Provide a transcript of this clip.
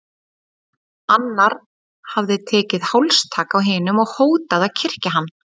Annar hafði tekið hálstak á hinum og hótað að kyrkja hann.